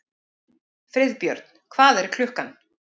Friðbjörn, hvað er klukkan?